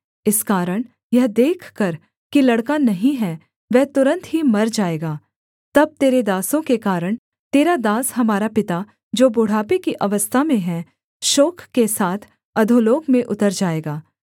इस कारण यह देखकर कि लड़का नहीं है वह तुरन्त ही मर जाएगा तब तेरे दासों के कारण तेरा दास हमारा पिता जो बुढ़ापे की अवस्था में है शोक के साथ अधोलोक में उतर जाएगा